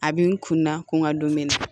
A bɛ n kun na ko n ka don mɛnɛ na